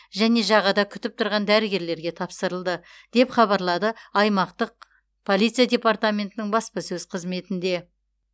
және жағада күтіп тұрған дәрігерлерге тапсырылды деп хабарлады аймақтық полиция департаментінің баспасөз қызметінде